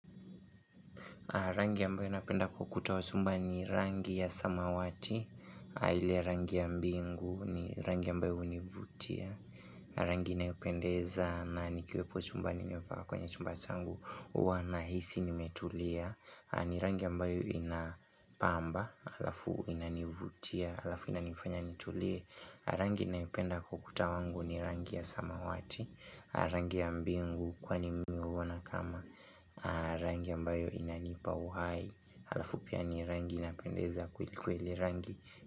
Rangi ambayo napenda kwa ukuta wa chumba ni rangi ya samawati, ile rangi ya mbingu ni rangi ambayo univutia, rangi inayopendeza na nikiwepo chumbani niwepa kwenye chumba changu Huwa nahisi nimetulia, ni rangi ambayo inapamba, alafu inanivutia, alafu inanifanya nitulie. Rangi naipenda kwa ukuta wangu ni rangi ya samawati Rangi ya mbingu kwani mi huona kama Rangi ambayo inanipa uhai ala fu pia ni rangi inapendeza kweli kweli rangi.